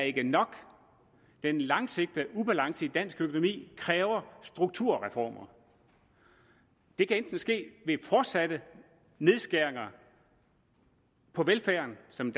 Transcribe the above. ikke er nok at den langsigtede ubalance i dansk økonomi kræver strukturreformer det kan enten ske ved fortsatte nedskæringer på velfærden som